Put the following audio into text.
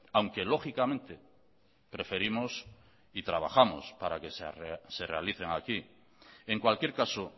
aunque lógicamente preferimos y trabajamos para que se realicen aquí en cualquier caso